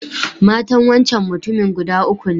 Matan wancan mutumin guda uku ne.